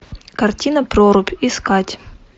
картина прорубь искать